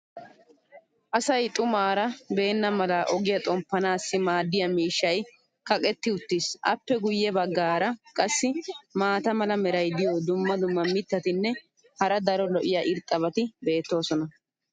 Asay xumaara beenna mala ogiya xomppanaassi maadiya miishshay kaqetti uttiis. appe guye bagaara qassi maata mala meray diyo dumma dumma mitatinne hara daro lo'iya irxxabati beetoosona.